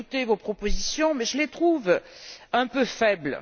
J'ai écouté vos propositions mais je les trouve un peu faibles.